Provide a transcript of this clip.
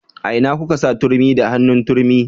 A ina kuka sa turmi da hannun turmi